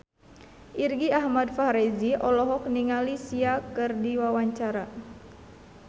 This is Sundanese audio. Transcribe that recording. Irgi Ahmad Fahrezi olohok ningali Sia keur diwawancara